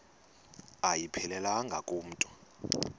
ayiphelelanga ku mntu